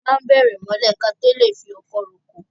A máa n bẹ̀rẹ̀ mọ́lẹ̀ káto lè fi ọkọ̀ ro oko